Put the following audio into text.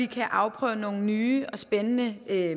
kan afprøve nogle nye og spændende